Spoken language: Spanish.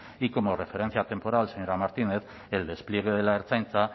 y como referencia atemporal señora martínez el despliegue de la ertzaintza